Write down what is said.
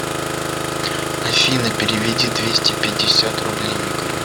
афина переведи двести пятьдесят рублей игорю